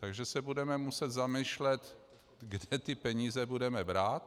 Takže se budeme muset zamýšlet, kde ty peníze budeme brát.